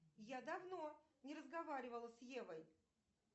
я давно не разговаривала с евой